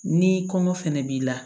Ni kɔngɔ fɛnɛ b'i la